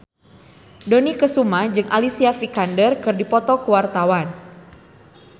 Dony Kesuma jeung Alicia Vikander keur dipoto ku wartawan